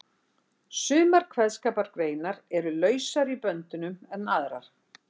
Sumar kveðskapargreinar eru lausari í böndunum en aðrar.